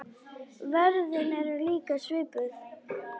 Verðin eru líka svipuð.